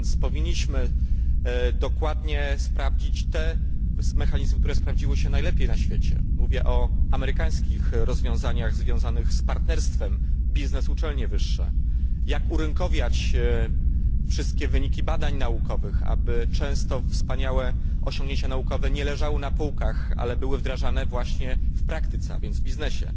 A więc powinniśmy dokładnie sprawdzić te mechanizmy, które sprawdziły się najlepiej na świecie. Mówię o amerykańskich rozwiązaniach związanych z partnerstwem biznes uczelnie wyższe, jak urynkowiać wszystkie wyniki badań naukowych po to, aby często wspaniałe osiągnięcia naukowe nie leżały na półkach, ale były wdrażane właśnie w praktyce, a więc w biznesie.